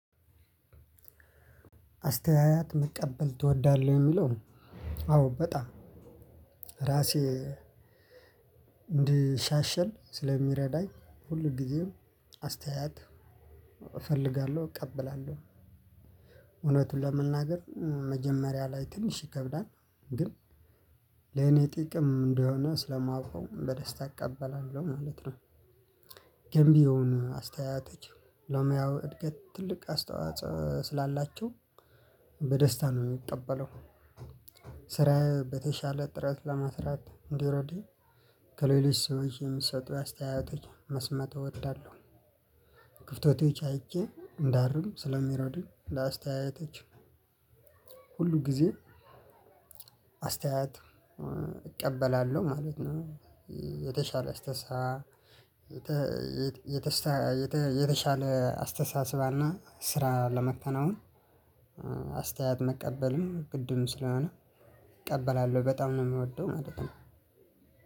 አስተያየት መቀበል ትወዳለህ? ለሚለው አዎ በጣም ራሴ እንድሻሻል ስለሚረዳኝ ሁልጊዜም አስተያየት እፈልጋለሁ እቀበላለሁ። እውነቱን ለመናገር መጀመሪያ ላይ ትንሽ ይከብዳል። ግን ለኔ ጥቅም እንደሆነ ስለማውቀው በደስታ እቀበላለሁ ማለት ነው። ገንቢ የሆኑ አስተያየቶችን ለሙያው እድገት ትልቅ አስተዋጽኦ ስላላቸው በደስታ ነው የምቀበለው ስራዬ በተሻለ ጥራት ለመስራት እንዲረዳኝ ከሌሎች ሰዎች የሚሰጡ አስተያየቶችን መስማት እወዳለሁ። ክፍተቶች አይቼ እንዳርም ስለሚረዱኝ ለአስተያየቶች ሁሉ ጊዜ አስተያየት እቀበላለሁ ማለት ነው። የተሻለ አስተሳሰብ የተሻለ አስተሳሰባና ስራ ለማከናወን አስተያየት መቀበልም ግድም ስለሆነ እቀበላለሁ በጣም ነው የምወደው ማለት ነው።